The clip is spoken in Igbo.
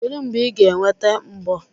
Kedu mgbe ị ga-eweta mbọ?